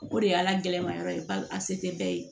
O de y'a gɛlɛmayɔrɔ ye ba a se tɛ bɛɛ ye